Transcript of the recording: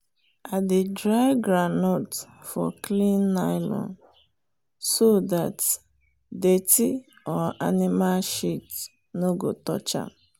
i dey dry groundnut for clean nylon so dat dirty or animal shit no go touch am.